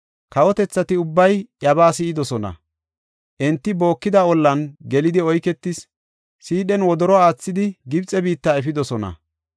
Kawotethati ubbay iyabaa si7idosona; enti bookida ollan gelidi oyketis; siidhen wodoro aathidi Gibxe biitta efidosona.